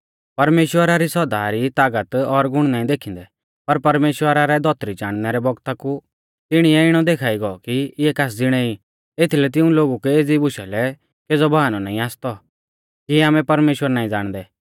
परमेश्‍वरा री सौदा री तागत और गुण नाईं देखिंदै पर परमेश्‍वरा रै धौतरी चाणनै रै बौगता कु तिणीऐ इणौ देखा ई गौ कि इऐ कास ज़िणै ई एथीलै तिऊं लोगु कै एज़ी बुशा लै केज़ौ बाहनौ नाईं आसतौ कि आमै परमेश्‍वर नाईं ज़ाणदै